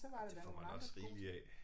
Ja det får man også rigeligt af